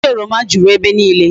Osisi oroma juru ebe niile